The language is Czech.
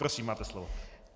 Prosím, máte slovo.